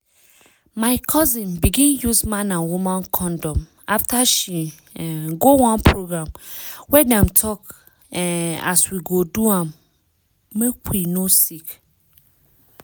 my cousin begin use man and woman condom after she um go one program wey dem talk um as we go do make we no sick